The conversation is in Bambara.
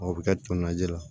O bɛ kɛ tomnajɛ la